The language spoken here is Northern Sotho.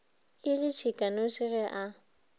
e le tšhikanoši ge a